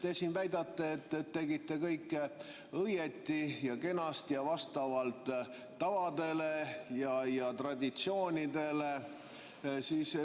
Te siin väidate, et tegite kõike õieti ja kenasti ja vastavalt tavadele ja traditsioonidele.